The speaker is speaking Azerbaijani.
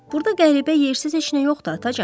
Burda qəribə yersiz heç nə yoxdu atacan.